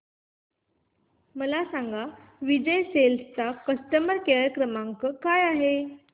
मला सांगा विजय सेल्स चा कस्टमर केअर क्रमांक काय आहे